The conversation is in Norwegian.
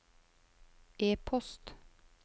e-post